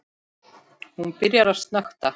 Hún byrjar að snökta.